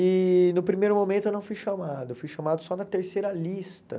E no primeiro momento eu não fui chamado, eu fui chamado só na terceira lista.